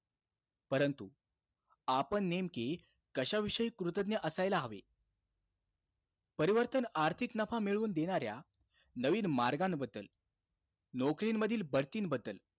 परंतु, आपण नेमकी कशा विषयी कृतज्ञ असायला हवे? परिवर्तन आर्थिक नफा मिळवून देणाऱ्या नवीन मार्गांबद्दल, नौकरींमधील बढतींबद्दल,